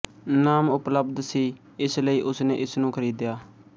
ਨਾਮ ਉਪਲੱਬਧ ਸੀ ਇਸ ਲਈ ਉਸਨੇ ਇਸਨੂੰ ਖਰੀਦਿਆ